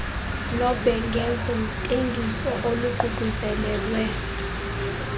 nobhengezo ntengiso oluququzelelwe